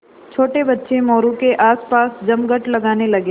छोटे बच्चे मोरू के आसपास जमघट लगाने लगे